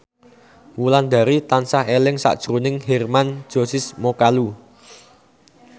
Wulandari tansah eling sakjroning Hermann Josis Mokalu